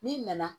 N'i nana